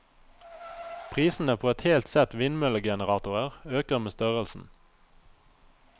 Prisene på et helt sett vindmøllegeneratorer øker med størrelsen.